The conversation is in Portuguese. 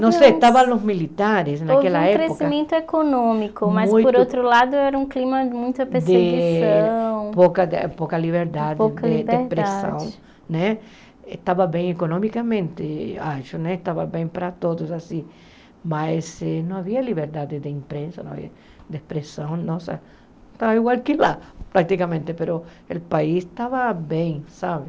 Não sei, estavam os militares naquela época Houve um crescimento econômico, mas por outro lado era um clima de muita perseguição Pouca pouca liberdade de expressão né Estava bem economicamente, acho, estava bem para todos Mas não havia liberdade de imprensa, não havia de expressão Estava igual que lá, praticamente, mas o país estava bem, sabe?